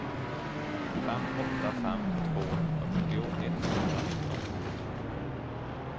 fem åtta fem två fyrtio etthundranitton